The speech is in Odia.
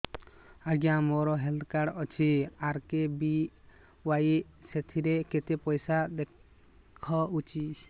ଆଜ୍ଞା ମୋର ହେଲ୍ଥ କାର୍ଡ ଅଛି ଆର୍.କେ.ବି.ୱାଇ ସେଥିରେ କେତେ ପଇସା ଦେଖଉଛି